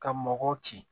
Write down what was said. Ka mɔgɔw ci